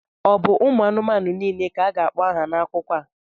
Ọ bụ ụmụ anụmanụ niile ka a ga-akpọ aha n'akụkọ a?